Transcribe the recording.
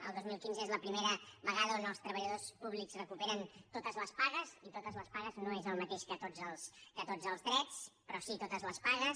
el dos mil quinze és la primera vegada on els treballadors públics recuperen totes les pagues i totes les pagues no és el mateix que tots els drets però sí totes les pagues